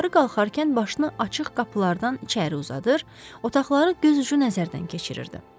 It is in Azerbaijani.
Yuxarı qalxarkən başını açıq qapılardan içəri uzadır, otaqları gözucu nəzərdən keçirirdi.